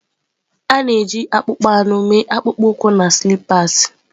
A na-eji akpụkpọ anụ mee akpụkpọ ụkwụ na sịlipas.